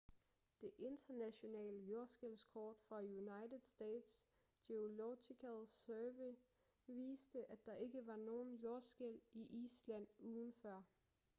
det internationale jordskælvskort fra united states geological survey viste at der ikke var nogen jordskælv i island ugen før